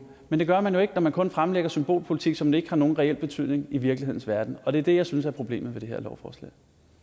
men det gør man jo ikke når man kun fremlægger symbolpolitik som ikke har nogen reel betydning i virkelighedens verden og det er det jeg synes er problemet ved det her lovforslag